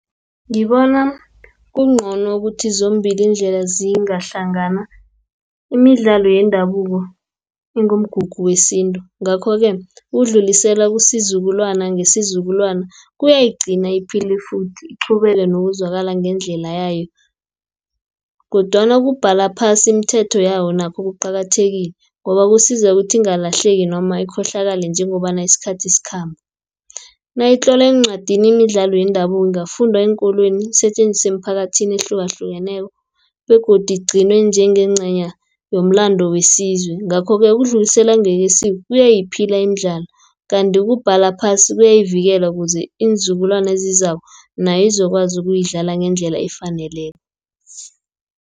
Ngibona kungcono ukuthi zombili iindlela zingahlangana, imidlalo yendabuko ingumgugu wesintu. Ngakho-ke, ukudlulisela kusizukulwana, ngesizukulwana kuyayigcina iphile futhi, iqhubeke nokuzwakala ngendlela yayo, kodwana ukubhala phasi imithetho yawo nakho kuqakathekile, ngobakusiza ukuthi ingalahleki, noma ikhohlakale njengobana isikhathi sikhamba. Nayitlolwa eencwadini imidlalo yendabuko ingafundwa eenkolweni isetjenziswe emphakathini ehlukahlukeneko, begodu igcinwe njengencenya yomlandu wesizwe. Ngakho-ke ukudluliselwa ngekwesiko, kuyayiphila imidlalo, kanti ukubhala phasi kuyayivikela, ukuze iinzukulwane ezizako nayizokwazi ukuyidlala ngendlela efaneleko.